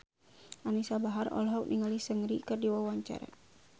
Anisa Bahar olohok ningali Seungri keur diwawancara